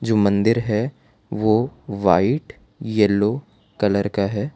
जो मंदिर है वो वाइट येलो कलर का है।